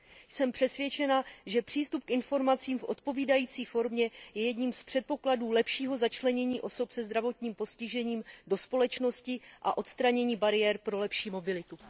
Jsem přesvědčena, že přístup k informacím v odpovídající formě je jedním z předpokladů lepšího začlenění osob se zdravotním postižením do společnosti a odstranění bariér pro lepší mobilitu.